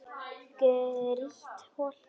Grýtt holt.